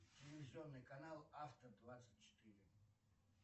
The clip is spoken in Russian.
телевизионный канал авто двадцать четыре